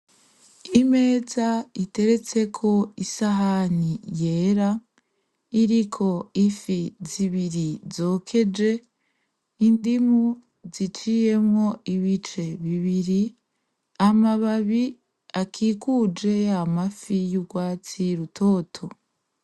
Imeza iteretseko isahani yera iriko ifi zibiri zokeje n'indimu ziciyemwo ibice bibiri , amababi akikuje yamafi y'ugwatsi rutoto.